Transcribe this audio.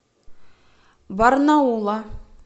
барнаула